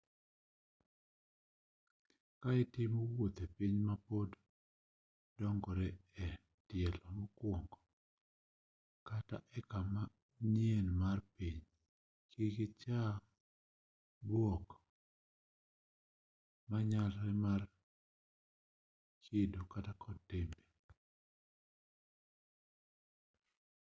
ka itimo wuoth e piny ma pod dongore e tielo mokuongo kata e kama nyien mar piny kik icha bwok manyalore mar kido kod timbe